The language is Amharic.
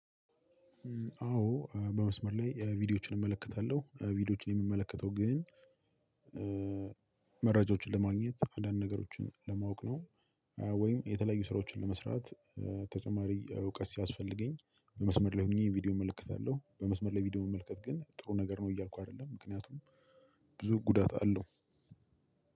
አዎ በመስመር ላይ ቪዲዮዎችን እመለከታለሁ ቪዲዮዎችን የምመለከተው ግን መረጃዎችን ለማግኘት አንዳንድ ነገሮችን ለማወቅ ነው። ወይም የተለዩ ስራዎችን ለመስራት ተጨማሪ እውቀት ሲያስፈልገኝ። በመስመር ለይ ሆኘ ቪዲዮ እመለከታለሁ። በመስመር ለይ ቪዲዮ መመልከት ግን ጥሩ ነገር ነው እያልኩ አይደለም ምክንያቱም ብዙ ጉዳት አለው።